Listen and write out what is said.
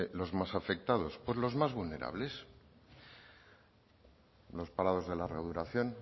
los más afectados pues los más vulnerables los parados de larga duración